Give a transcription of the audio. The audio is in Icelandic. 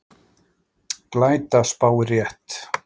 Glæta spáir rétt